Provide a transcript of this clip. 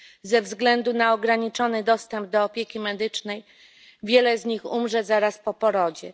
Ze względu na ograniczony dostęp do opieki medycznej wiele z nich umrze zaraz po porodzie.